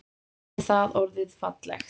Hefði það orðið fallegt?